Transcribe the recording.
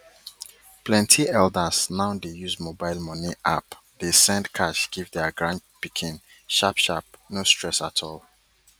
plenty elders now dey use mobile money app dey send cash give their grandpikin sharpsharp no stress at all